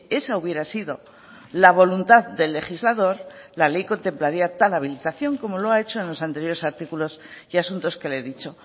esa hubiera sido la voluntad del legislador la ley contemplaría tal habilitación como lo ha hecho en los anteriores artículos y asuntos que le he dicho